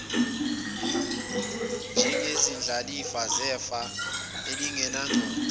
njengezindlalifa zefa elingenancwadi